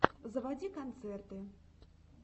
заводи концерты